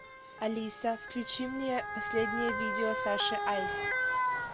алиса включи мне последнее виде саши айс